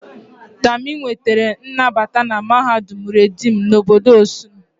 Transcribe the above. Tami nwetara nnabata na mahadum reedim na obodo Osun